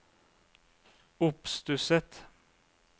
oppstusset